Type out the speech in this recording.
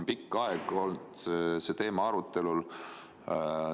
Pikka aega on see teema olnud arutelu all.